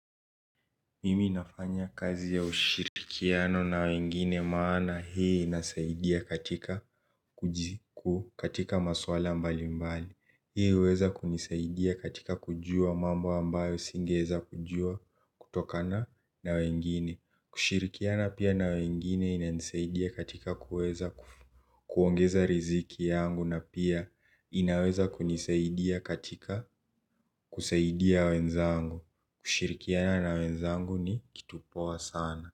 Mimi nafanya kazi ya ushirikiano na wengine maana hii inasaidia katika katika maswala mbali mbali. Hii huweza kunisaidia katika kujua mambo ambayo singeweza kujua kutokana na wengine. Kushirikiana pia na wengine inanisaidia katika kuweza kuongeza riziki yangu na pia inaweza kunisaidia katika kusaidia wenzangu. Kushirikiana na wenzangu ni kitu poa sana.